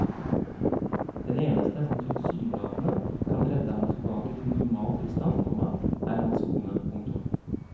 Den eneste som tilsynelatende kan redde ham tilbake til normal tilstand, komma er hans kone. punktum